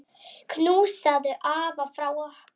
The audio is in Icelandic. Knúsaðu afa frá okkur.